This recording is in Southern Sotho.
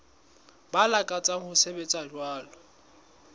ba lakatsang ho sebetsa jwalo